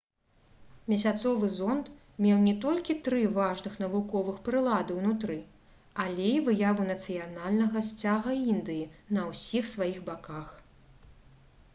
месяцовы зонд меў не толькі тры важных навуковых прылады ўнутры але і выяву нацыянальнага сцяга індыі на ўсіх сваіх баках